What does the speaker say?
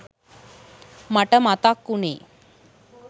මට මතක් උනෙ